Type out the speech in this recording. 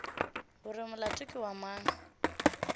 gore molato ke wa mang